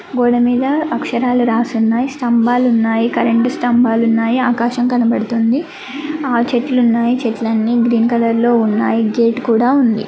గోడ మీద అక్షరాలు రాసి ఉన్నాయి. స్థంభాలు ఉన్నాయి. కరెంట్ స్థంభాలు ఉన్నాయి. ఆకాశం కనబడుతుంది. ఆరు చెట్లు ఉన్నాయి. చెట్లన్నీ గ్రీన్ కలర్ లో ఉన్నాయి. గేట్ కూడా ఉంది.